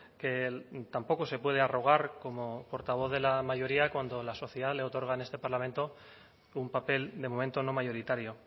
que tampoco se puede arrogar como portavoz de la mayoría cuando la sociedad le otorga en este parlamento un papel de momento no mayoritario